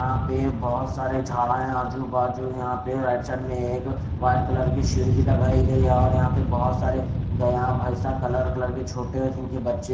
यहाँ पे बहुत सारे झाड़ा है आजू-बाजू यहाँ पे राइट साइड में एक व्हाईट कलर की शीट भी लगाई गई है और यहाँ पे बहुत सारे गया भैसा कलर कलर के छोटे इनके बच्चे--